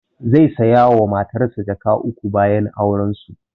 Zai saya wa matansa jaka uku bayan auren su